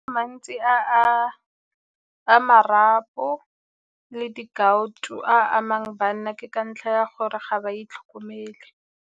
Mantsi a marapo le di-gout-o a amang banna ke ka ntlha ya gore ga ba itlhokomele.